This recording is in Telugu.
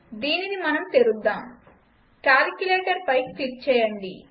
దీనిని మనం తెరుద్దాం కాలిక్యులేటర్పై క్లిక్ చేయండి